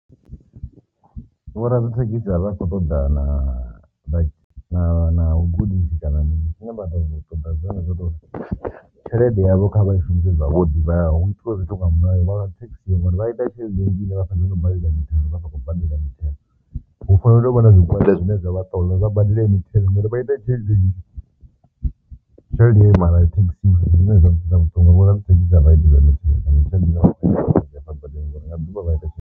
Vho ra dzi thekhisi avha a kho ṱoḓana na na na u gudisisa na mini zwine vha ḓo vha nga ṱoḓa zwone zwo to tshelede yavho kha vha shumise zwavhuḓi vha hu itiwe zwithu nga mulayo nga thekhisi ngori vha ita tshelede nnzhi nga hafha noni no badela mithelo vha sa khou badela mithelo, hu fanela u vha na zwigwada zwine zwa vha ṱola vha badele mithelo ngori vha ita tshelede nzhi, tshelede heyo mara a i teksiwi zwine zwavhuḓi ngori nga ḓuvha vha ita.